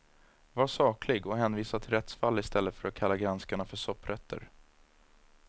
Var saklig och hänvisa till rättsfall istället för att kalla granskarna för sopprötter.